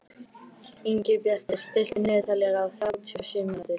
Ingibjartur, stilltu niðurteljara á þrjátíu og sjö mínútur.